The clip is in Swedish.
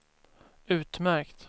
utmärkt